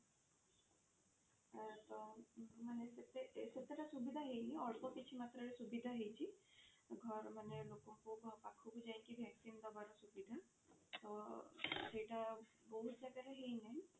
ତ ମାନେ ସେତେଟା ସୁବିଧା ହେଇନି ଅଳ୍ପ କିଛି ମାତ୍ରା ରେ ସୁବିଧା ହେଇଛି ଘରେ ମାନେ ଲୋକଙ୍କ ପାଖକୁ ଯାଇକି vaccine ଦବାର ସୁବିଧା ତ ସେଇଟା ବହୁତ ଜାଗାରେ ହେଇନି